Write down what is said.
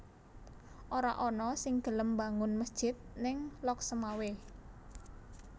Ora ana sing gelem mbangun mesjid ning Lhokseumawe